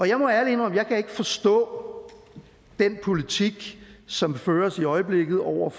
jeg må ærligt indrømme at forstå den politik som føres i øjeblikket over